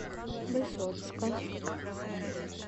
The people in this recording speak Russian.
высоцка